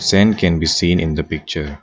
Sand can be seen in the picture.